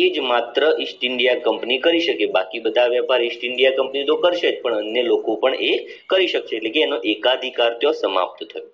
ઈજ માત્ર east india company કહી શકે બાકી બધા વેપાર ઇસ્ટ india company તો કરશે જ પણ અન્ય લોકો પણ એ કરી શકશે એટલે એનો એકાદીકાર તો સમાપ્ત થાય